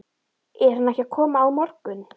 Er hann ekki að koma á morgun?